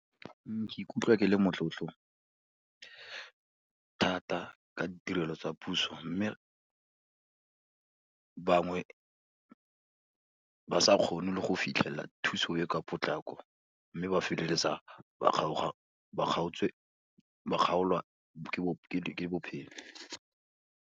Ke ikutlwa ke le motlotlo thata ka ditirelo tsa puso, mme bangwe ba sa kgone le go fitlhelela thuso e ka potlako, mme ba feleletsa ba kgaoga, kgaotswe, ba kgaolwa ke bophelo.